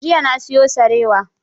Jiya na siyo sarewa.